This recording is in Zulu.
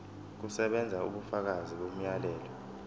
kusebenza ubufakazi bomyalelo